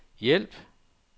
hjælp